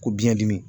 Ko biɲɛ dimi